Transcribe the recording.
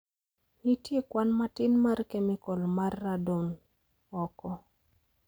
Nitie kwan matin mar kemikol mar radon oko.